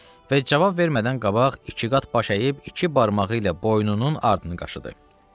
Və cavab vermədən qabaq iki qat baş əyib, iki barmağı ilə boynunun ardını qaşıdı.